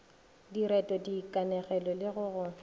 direto dikanegelo le go go